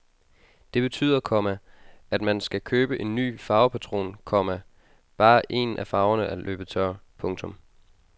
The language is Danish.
Det betyder, komma at man skal købe en ny farvepatron, komma bare en af farverne er løbet tør. punktum